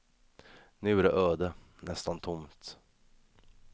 Nu är det öde, nästan tomt.